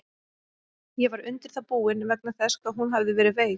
Ég var undir það búinn, vegna þess hvað hún hafði verið veik.